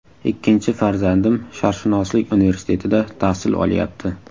Ikkinchi farzandim Sharqshunoslik universitetida tahsil olyapti.